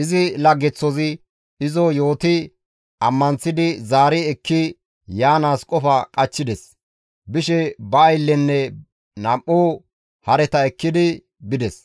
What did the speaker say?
Izi laggeththozi izo yooti ammanththidi zaari ekki yaanaas qofa qachchides; bishe ba ayllenne nam7u hareta ekkidi bides;